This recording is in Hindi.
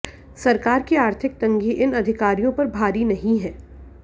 सरकार की आर्थिक तंगी इन अधिकारियों पर भारी नहीं है